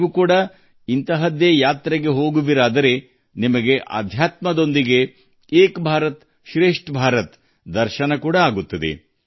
ನೀವೂ ಕೂಡ ಇಂತಹ ಯಾತ್ರೆ ಕೈಗೊಂಡರೆ ಆಧ್ಯಾತ್ಮದ ಭಕ್ತಿಯ ಜೊತೆಗೆ ಏಕ್ ಭಾರತ್ಶ್ರೇಷ್ಠ ಭಾರತಗಳ ದರ್ಶನವೂ ಆಗುತ್ತದೆ